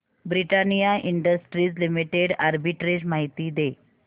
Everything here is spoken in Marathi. ब्रिटानिया इंडस्ट्रीज लिमिटेड आर्बिट्रेज माहिती दे